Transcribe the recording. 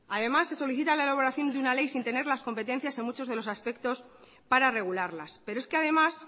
además se solicita la elaboración de una ley sin tener las competencias en muchos de los aspectos para regularlas pero es que además